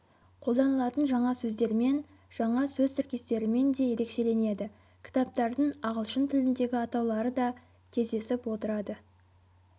қолданылатын жаңа сөздермен жаңа сөз тіркестерімен де ерекшеленеді кітаптардың ағылшын тіліндегі атаулары да кездесіп отырады